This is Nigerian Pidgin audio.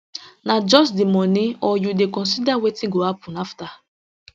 na just di moni or you dey consider wetin go happun afta